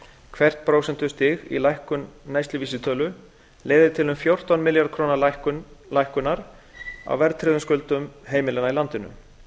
hvert prósentustig í lækkun neysluvísitölu leiðir til um fjórtán milljarða króna lækkunar á verðtryggðum skuldum heimilanna í landinu